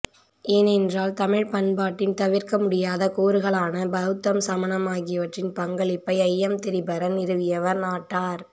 ஏனென்றால் தமிழ்ப்பண்பாட்டின் தவிர்க்கமுடியாத கூறுகளான பௌத்தம் சமணம் ஆகியவற்றின் பங்களிப்பை ஐயம்திரிபற நிறுவியவர் நாட்டார்